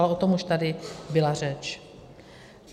Ale o tom už tady byla řeč.